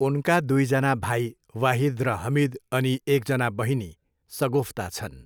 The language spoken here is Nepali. उनका दुईजना भाइ वाहिद र हमिद अनि एकजना बहिनी सगुफ्ता छन्।